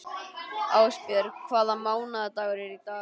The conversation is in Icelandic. Ásbjörg, hvaða mánaðardagur er í dag?